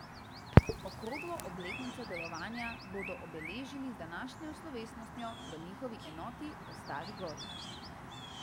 Okroglo obletnico delovanja bodo obeležili z današnjo slovesnostjo v njihovi enoti v Stari Gori.